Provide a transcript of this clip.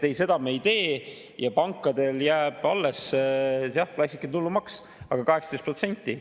Ei, seda me ei tee ja pankadele jääb alles klassikaline tulumaks, aga 18%.